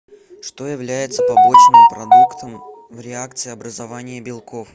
что является побочным продуктом в реакции образования белков